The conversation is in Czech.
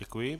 Děkuji.